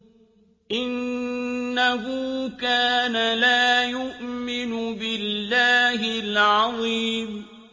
إِنَّهُ كَانَ لَا يُؤْمِنُ بِاللَّهِ الْعَظِيمِ